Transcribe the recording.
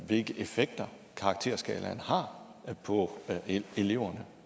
hvilke effekter karakterskalaen har på eleverne